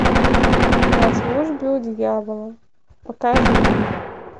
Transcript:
на службе у дьявола покажи мне